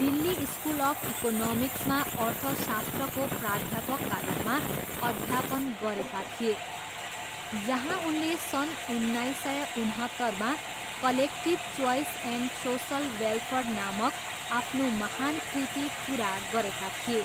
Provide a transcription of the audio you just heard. Delhi school of इकोनोमिक्समा अर्थशास्त्रको प्राध्यापकका रूपमा अध्यापन गरेका थिए, जहाँ उनले सन् उन्नाइस सय उनहत्तरमा collective choice and social welfare नामक आफ्नो महान कृति पुरा गरेका थिए।